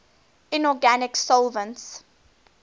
inorganic solvents